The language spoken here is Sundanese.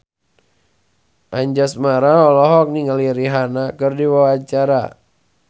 Anjasmara olohok ningali Rihanna keur diwawancara